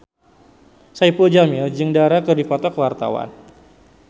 Saipul Jamil jeung Dara keur dipoto ku wartawan